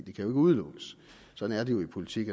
ikke udelukkes sådan er det jo i politik